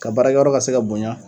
Ka baarakɛyɔrɔ ka se ka bonya